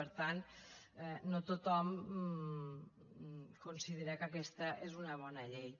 per tant no tothom considera que aquesta és una bona llei